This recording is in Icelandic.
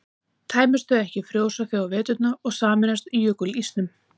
tæmist þau ekki frjósa þau á veturna og sameinast jökulísnum